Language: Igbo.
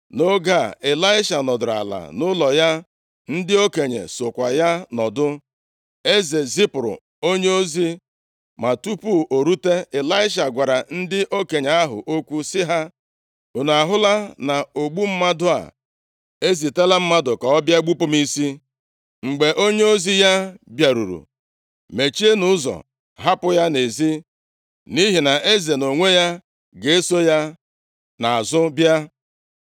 Nʼoge a, Ịlaisha nọdụrụ ala nʼụlọ ya, ndị okenye sokwa ya nọdụ. Eze zipụrụ onyeozi, ma tupu o rute, Ịlaisha gwara ndị okenye ahụ okwu sị ha, “Unu ahụla na ogbu mmadụ a ezitela mmadụ ka ọ bịa gbupụ m isi. Mgbe onyeozi ya bịaruru, mechienụ ụzọ hapụ ya nʼezi, nʼihi na eze nʼonwe ya ga-eso ya nʼazụ bịa.”